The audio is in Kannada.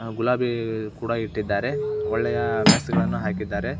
ಗುಲಾಬಿ ಕೂಡ ಇಟ್ಟಿದ್ದಾರೆ. ಒಳ್ಳೆಯ ಮೆಸ್ ಗಳನ್ನು ಹಾಕಿದ್ದಾರೆ.